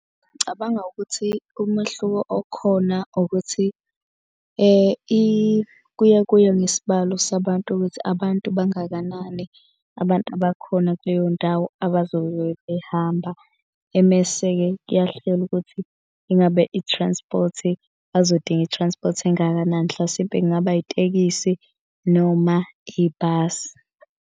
Ngicabanga ukuthi umehluko okhona ukuthi kuye kuye ngesibalo sabantu ukuthi abantu bangakanani. Abantu abakhona kuleyo ndawo abazobe behamba. Emese-ke kuyahlelwa ukuthi ingabe i-transport bazodinga i-transport engakanani. Hlasimpe kungaba itekisi noma ibhasi.